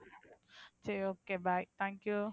சரி okay bye thank you.